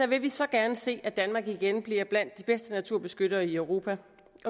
vil vi så gerne se at danmark igen bliver blandt de bedste naturbeskyttere i europa